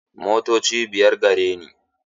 Motoci biyar gare ni.